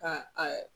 Ka a